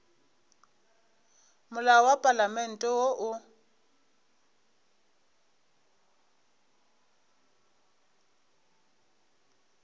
molao wa palamente wo o